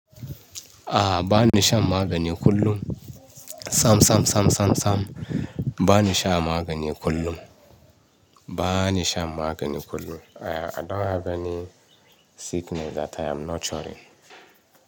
Ah, ba ni shan magani kullum. Sam, sam, sam, sam, sam. Ba ni sha magani kullum. Ba ni sha magani kullum. I, I don't have any sickness that I am not sure.